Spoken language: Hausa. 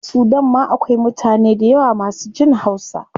A sudan ma akwai mutane dayawa masu jin hausa